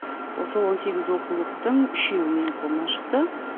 осы он сегіз оқулықтың үшеуі менің қолымнан шықты